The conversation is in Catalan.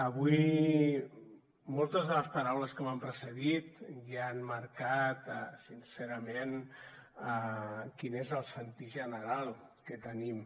avui moltes de les paraules que m’han precedit ja han marcat sincerament quin és el sentir general que tenim